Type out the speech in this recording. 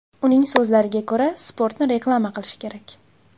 Uning so‘zlariga ko‘ra, sportni reklama qilish kerak.